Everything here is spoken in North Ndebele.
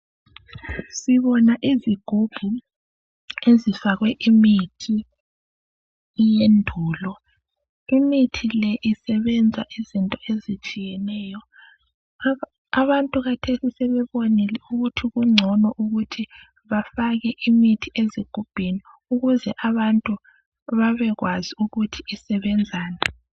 Sibona izigubhu ezifakwe imithi eyendulo. Imithi le isebenza izinto ezitshiyeneyo. Abantu khathesi sebebonile ukuthi kungcono ukuthi bafake imithi ezigubhini ukuze abantu babekwazi ukuthi isebenzani.